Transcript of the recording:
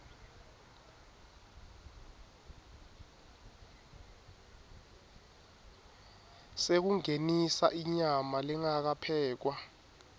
sekungenisa inyama lengakaphekwa